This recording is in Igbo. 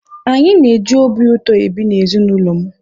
anyị na-eji obi ụtọ ebi na ezi n'ụlọ m